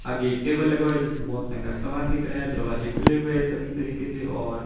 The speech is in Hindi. आगे एक टेबल लगा हुआ है जिसमें बहोत महंगा सामान दिख रहा है दरवाजे खुले हुए हैं सभी तरीके से और--